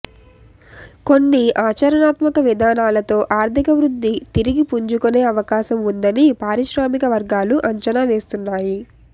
కొన్ని ఆచరణాత్మక విధానాలతో ఆర్థిక వృద్ధి తిరిగి పుంజుకునే అవకాశం ఉందని పారిశ్రామిక వర్గాలు అంచనా వేస్తున్నాయి